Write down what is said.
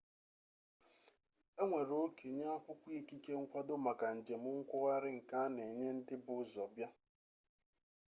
enwere oke nye akwụkwọ ikike nkwado maka njem nkwugharị nke a na enye ndị bu ụzọ bịa